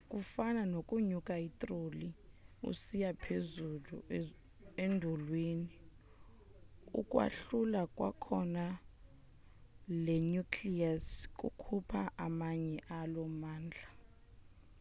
kufana nokunyusa itroli usiya phezulu endulini ukwahlula kwakhona le nucleus kukhupha amanye alo mandla